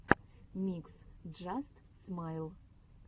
микс джаст смайл